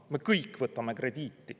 Me kõik võtame krediiti.